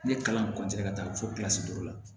Ne kalan ka taa fɔ kilasi duuru la